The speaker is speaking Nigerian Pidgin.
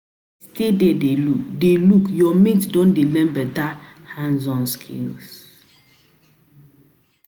if you like stay there dey look, your mates don dey learn better better hanzons skills